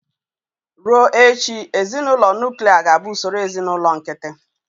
Ruo echi, ezinụlọ nuklia ga-abụ ụsọrọ ezinụlọ nkịtị.